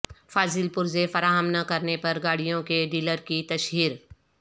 فاضل پرزے فراہم نہ کرنے پر گاڑیوں کے ڈیلر کی تشہیر